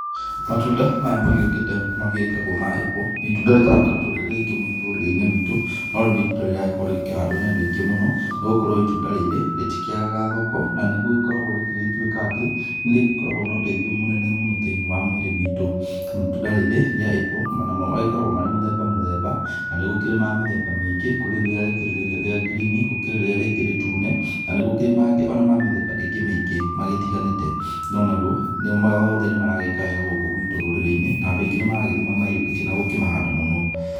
Matunda maya magĩũkĩte magĩtagwo ma apple nĩ itunda rĩtarakoretwo rĩrĩ rĩingĩ mũno gũkũ rũrĩrĩ-inĩ rwitũ, no rĩu nĩ itunda rĩragĩkorwo rĩkĩhandwo nĩ andũ aingĩ mũno nĩ gũkorwo itunda rĩrĩ rĩtikĩagaga thoko na nĩ gũgĩkoragwo rĩrĩgĩtuĩka atĩ, nĩ rĩgĩkoragwo na ũteithio mũnene mũno thĩ-inĩ wa mwĩrĩ witũ. Itunda rĩrĩ rĩa apple namo magĩkoragwo marĩ mũthemba mũthemba, na nĩ gũkĩrĩ ma mĩthemba mĩingĩ, kũrĩ rĩrĩa rĩkĩrĩ rĩa ngirini, gũkĩrĩ rĩrĩa rĩngĩ rĩtune na nĩ gũkĩrĩ mangĩ o nama mĩthemba ĩngĩ mĩingĩ magĩtiganĩte. No naguo, mothe nĩ maragĩka wega thĩinĩ wa gũkũ gwitũ rũrĩrĩ-inĩ na andũ aingĩ nĩ maragĩthiĩ makĩmaiyũkĩtie na gũkĩmahanda mũno.